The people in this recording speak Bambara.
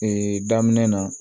Ee daminɛ na